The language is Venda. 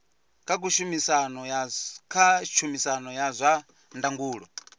kha tshumisano ya zwa ndangulo